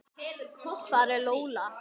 Hver er Lola?